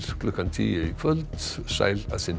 klukkan tíu í kvöld sæl að sinni